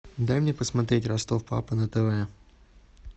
дай мне посмотреть ростов папа на тв